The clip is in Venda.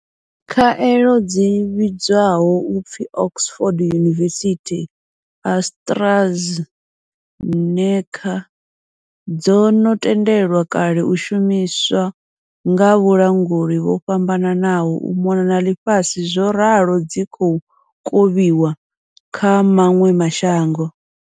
Khaelo dzi vhidzwaho u pfi Oxford University-AstraZeneca dzo no tendelwa kale u shumiswa nga vhalanguli vho fhambananaho u mona na ḽifhasi zworalo dzi khou kovhiwa kha maṅwe ma shango.